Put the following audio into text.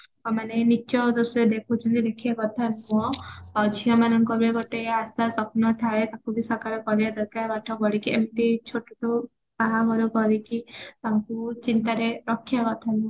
ମାନେ ନୀଚ ଦୃଷ୍ଟିରେ ଦେଖୁଛନ୍ତି ମାନେ ଦେଖିବା କଥା ନୁହଁ ଝିଅମାନଙ୍କର ବି ଗୋଟେ ଆଶା ସ୍ଵପ୍ନ ଥାଏ ତାକୁ ଶାକାର କରିବା ଦରକାର ପାଠ ପଢିକି ଏମତି ଛୋଟରୁ ବାହାଘର କରିକି ତାଙ୍କୁ ଚିନ୍ତାରେ ରଖିବା କଥା ନୁହଁ